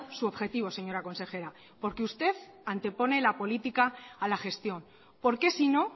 su objetivo señora consejera porque usted antepone la política a la gestión por qué sino